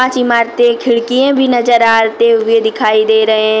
इमारतें खिड़कियें भी नजर आते हुए दिखाई दे रहे हैं।